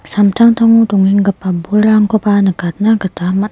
samtangtango dongenggipa bolrangkoba nikatna gita man--